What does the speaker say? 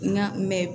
N ka mɛ